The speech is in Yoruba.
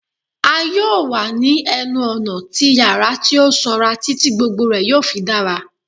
A yoo wa ni ẹnu-ọna ti yara ti o sanra titi gbogbo rẹ yoo fi dara